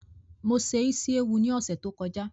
Mo se Ísíéwu ni ọ̀sẹ̀ tó kọjá